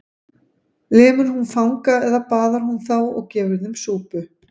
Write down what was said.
Lemur hún fanga eða baðar hún þá og gefur þeim súpu?